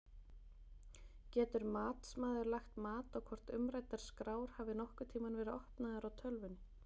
Getur matsmaður lagt mat á hvort umræddar skrár hafi nokkurn tímann verið opnaðar í tölvunni?